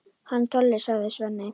Hann Tolli, sagði Svenni.